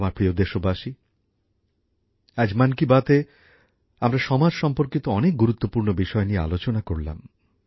আমার প্রিয় দেশবাসী আজ মন কি বাতএ আমরা সমাজ সম্পর্কিত অনেক গুরুত্বপূর্ণ বিষয় নিয়ে আলোচনা করলাম